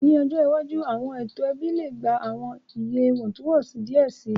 Ni ọjọ iwaju, awọn eto ẹbi le gba awọn iye iwọntunwọnsi diẹ sii,